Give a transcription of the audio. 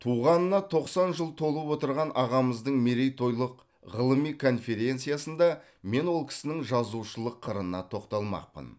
туғанына тоқсан жыл толып отырған ағамыздың мерейтойлық ғылыми конференциясында мен ол кісінің жазушылық қырына тоқталмақпын